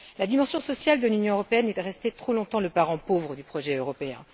La dimension sociale de l'Union européenne est restée trop longtemps le parent pauvre du projet européen.